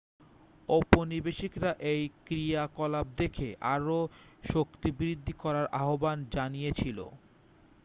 ঔপনিবেশিকরা এই ক্রিয়াকলাপ দেখে আরও শক্তিবৃদ্ধি করার আহ্বান জানিয়েছিল